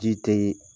Ji tɛ